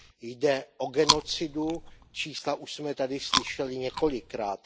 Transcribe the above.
Jde o genocidu, čísla už jsme tady slyšeli několikrát.